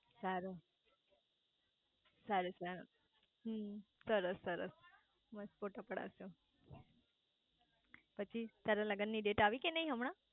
સારું સારું સારું હમ સરસ સરસ મસ્ત ફોટો પડદાવ શુ પછી તારા લગન ની ડેટ આઈ કે નાઈ હમણાં